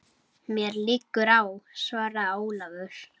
Mér liggur á, svaraði Ólafur.